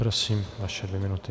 Prosím, vaše dvě minuty.